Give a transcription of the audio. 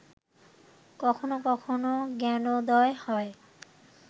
কখন কখন জ্ঞানোদয় হয়